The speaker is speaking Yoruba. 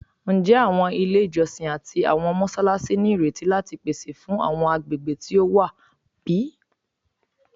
Njẹ awọn ile ijọsin ati awọn mọṣalaṣi nireti lati pese fun awọn agbegbe ti o wa bi?